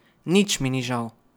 Nič mi ni žal.